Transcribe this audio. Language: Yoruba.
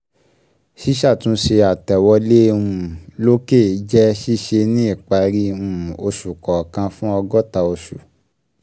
Ṣísàtúnṣe àtẹ̀wolé um lòkè um jẹ́ ṣíṣe ní ìparí um oṣù kọ̀ọkan fún ọgọ́ta oṣù